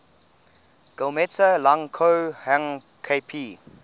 guillemets lang ko hang kp